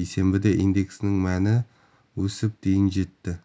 бейсенбіде индексінің мәні өсіп дейін жетті